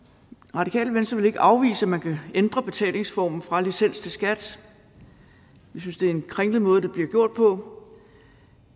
radikale venstre vil ikke afvise at man kan ændre betalingsformen fra licens til skat vi synes det er en kringlet måde det bliver gjort på